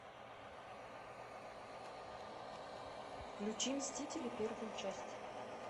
включи мстители первую часть